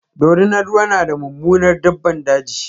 dorinar ruwa na da Mummunar daɓɓan daji.